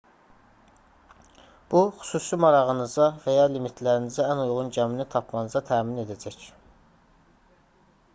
bu xüsusi marağınıza və ya limitlərinizə ən uyğun gəmini tapmanızı təmin edəcək